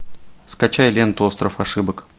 скачай ленту остров ошибок